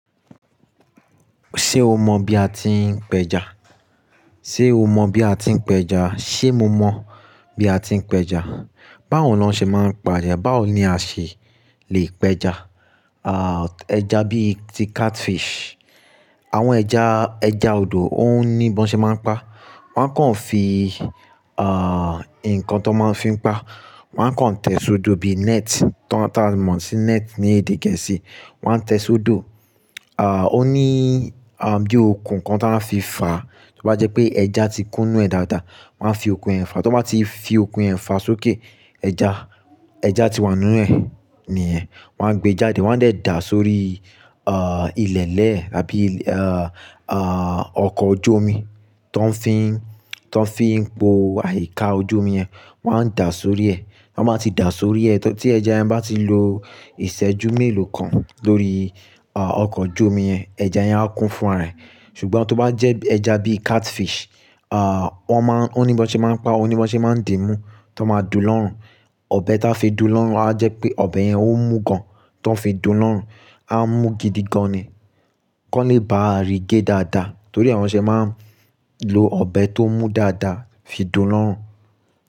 Ṣé o mọ bí a ti ń pẹja? Sé o mọ bí a ti ń pẹja? Sé mo mọ bí a ti ń pẹja? Báwo ni wọ́n ṣé máa ń pa ẹja? Báwo ni a ṣé lè pẹja? Ah, ẹja bí i ti catfish, àwọn ẹja, ẹja odò ó ní bí wọ́n ṣé máa ń pa. Wọ́n á kàn fi, ah, ǹkan ti won máa ń fi pa, wọ́n á kàn tẹ sódo bí net, tá, tá a mọ̀ sí net ní èdè Gẹ̀ẹ́sì. Wọ́n á tẹ sódo, ah, ó ní, a, bí ó kun ǹkan tí wọ́n á fi fà á. Torí bá jẹ́ pé ẹja ti kúnú ẹ̀ dáadáa, wọ́n á fi okùn ẹ̀ fà á. Tí wọ́n bá ti fi okùn ẹ̀ fà sókè, ẹja, ẹja ti wà nínú ẹ̀, níyẹ̀n. Wọ́n á gbé e jáde, wọ́n á dẹ̀ dà á sórí, ah, ilẹ̀elẹ́ tàbí, ah, ah, ọkọ̀ ojú omi tó ń fi ń, tó ń fi ń po àyíká ojú omi yẹn. Wọ́n á dà á sórí ẹ. Ti wọ́n bá ti dà á sórí ẹ, tí ẹja yẹn bá ti lo ìṣẹ́jú mélòó kan lórí, ah, ọkọ̀ ojú omi yẹn, ẹja yẹn á kú fún raẹ̀. Ṣùgbọ́n tó bá jẹ́ ẹja bí catfish, ah, wọ́n má-- ó ní bí wọ́n ṣe máa ń pa, ó ní bí wọ́n ṣe máa ń dìí mú tán máa dù lọ́rùn. Ọbẹ̀ táa fi dùn lọ́rùn á jẹ́ pé ọbẹ̀ yẹn ó mú gan-an tó ń fi dù lọ́rùn. A mú gidi gan-an ni kó lè bá a rí gé dáadáa. Torí ni wọn ṣe máa ń lo ọbẹ̀ tó mú dáadáa fi dùn lọ́rùn.